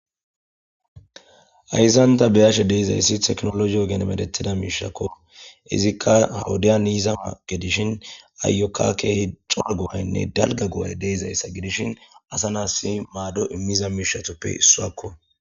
Hayisan ta beashe dizayisi techinoloje ogen medhetiza miishshakko izika ha wodian yiza gidishin ayoka kehi cora goayinne woyikko daliga go'ay deizayisa gidishin asa nasi mado imiza mishshatuppe issuakko.